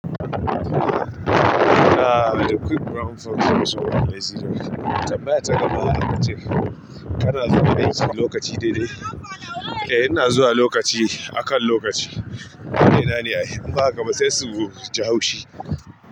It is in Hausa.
Aaa, a quick brown fox jump a lazy dog tambaya ta gaba akace. Kana zuwa gani lokaci daidai. Eh ina zuwa lokaci, akan lokaci. Menene ai? Inba hakaba sai su je haushi.